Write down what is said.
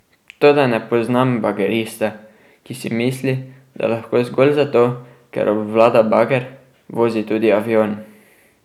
Toda ne poznam bagerista, ki si misli, da lahko zgolj zato, ker obvlada bager, vozi tudi avion.